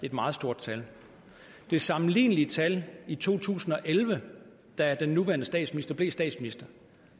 et meget stort tal det sammenlignelige tal i to tusind og elleve da den nuværende statsminister blev statsminister